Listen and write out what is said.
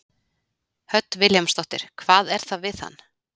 Hödd Vilhjálmsdóttir: Hvað er það við hann?